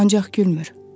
Ancaq gülmür.